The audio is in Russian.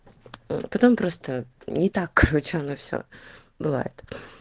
потом просто не так короче оно все бывает